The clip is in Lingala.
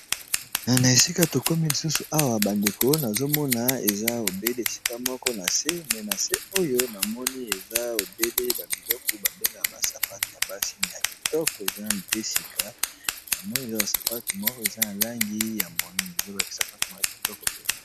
Na esika tokomi lisusu awa bandeko nazomona eza obele esika moko na se me na se oyo na moni eza ebele. babiloko babengaa basapato ya basi me ya kitoko eza mpe sika na moni eza basapatu moko eza na langi ya moino eza baisapatu mwoya kitoko mpenza.